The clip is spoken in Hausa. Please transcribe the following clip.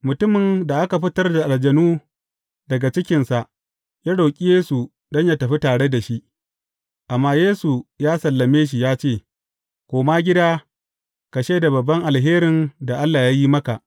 Mutumin da aka fitar da aljanun daga cikinsa, ya roƙi Yesu don yă tafi tare da shi, amma Yesu ya sallame shi ya ce, Koma gida, ka shaida babban alherin da Allah ya yi maka.